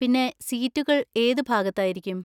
പിന്നെ, സീറ്റുകൾ ഏത് ഭാഗത്തായിരിക്കും?